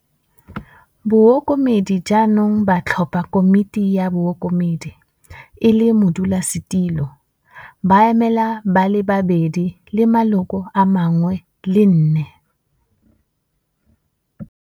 Bookomedi jaanong ba tlhopha Komiti ya Bookomedi - e le Modulasetilo, Baemela ba le babedi le maloko a mangwe le nne.